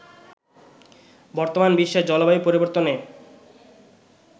বর্তমান বিশ্বে জলবায়ু পরিবর্তনে